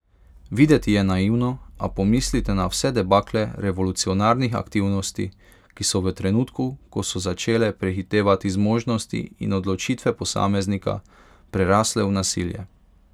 Videti je naivno, a pomislite na vse debakle revolucionarnih aktivnosti, ki so v trenutku, ko so začele prehitevati zmožnosti in odločitve posameznika, prerasle v nasilje.